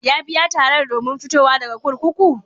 Ya biya tarar domin fitowa daga kurkuku?